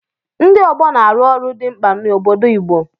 Ndị ọgbọ na-arụ ọrụ dị mkpa n'obodo Igbo.